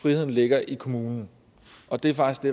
friheden ligger i kommunen og det er faktisk det